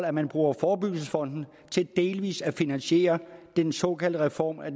at man bruger forebyggelsesfonden til delvis at finansiere den såkaldte reform af